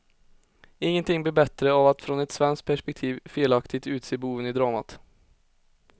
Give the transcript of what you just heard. Ingenting blir bättre av att från ett svenskt perspektiv felaktigt utse boven i dramat.